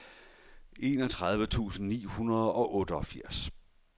enogtredive tusind ni hundrede og otteogfirs